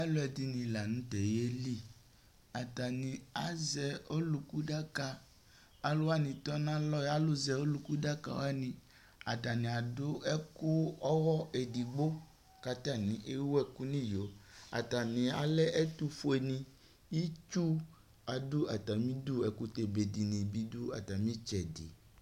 aludini lã nu tɛ yeli atani azɛ ɔluku daka aluwani tɔ nu alɔ alu zɛ ɔluku daka atania adu ɛku ɔwɔ edigbo ku atania ewu eku nu iyo atani lɛ ɛtu fue ni itsu adu atami du ekutɛ bebe dini bi du atami tsɛ di